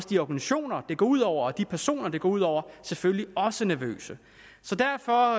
de organisationer det går ud over og de personer det går ud over er selvfølgelig også nervøse så derfor